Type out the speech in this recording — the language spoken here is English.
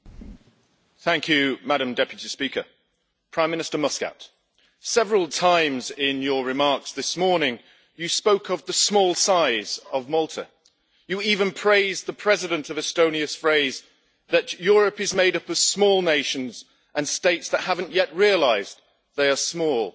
Madam President, thank you. Prime Minister Muscat, several times in your remarks this morning you spoke of the small size of Malta. You even praised the President of Estonia's phrase that Europe is made up of small nations and states that have not yet realised they are small.